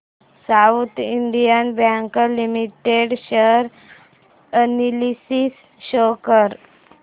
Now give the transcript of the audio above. south Indian bank limited share analysis show कर